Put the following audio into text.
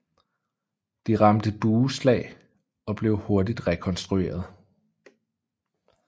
De ramte bueslag blev hurtigt rekonstrueret